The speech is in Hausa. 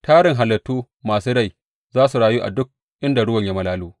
Tarin halittu masu rai za su rayu a duk inda ruwan ya malalo.